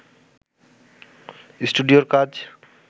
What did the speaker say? স্টুডিওর কাজ